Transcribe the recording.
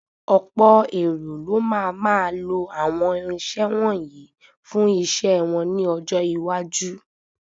Ọ̀pọ̀ èrò ló máa máa lọ àwọn irinṣẹ́ wọ̀nyí fún iṣẹ́ wọn ní ọjọ́ iwájú.